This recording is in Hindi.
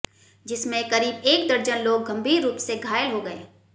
जिसमे करीब एक दर्जन लोग गंभीर रूप से घायल हो गए